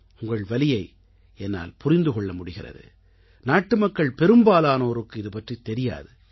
உங்கள் வலியை என்னால் புரிந்து கொள்ள முடிகிறது நாட்டுமக்கள் பெரும்பாலானோருக்கு இதுபற்றித் தெரியாது